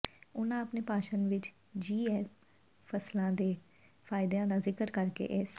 ਉਨ੍ਹਾਂ ਆਪਣੇ ਭਾਸ਼ਣ ਵਿੱਚ ਜੀ ਐਮ ਫ਼ਸਲਾਂ ਦੇ ਫਾਇਦਿਆਂ ਦਾ ਜ਼ਿਕਰ ਕਰਕੇ ਇਸ